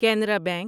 Canara bank